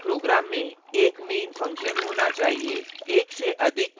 प्रत्येक program में एक main function होना चाहिए